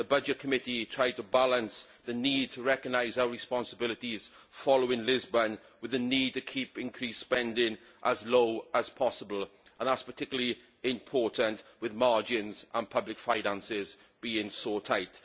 The Committee on Budgets tried to balance the need to recognise our responsibilities following Lisbon with the need to keep increased spending as low as possible and that is particularly important with margins and public finances being so tight.